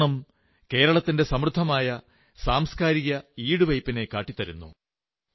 ഓണം കേരളത്തിന്റെ സമൃദ്ധമായ സാംസ്കാരിക ഈടുവയ്പ്പിനെ കാട്ടിത്തരുന്നതാണ്